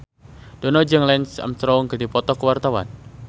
Dono jeung Lance Armstrong keur dipoto ku wartawan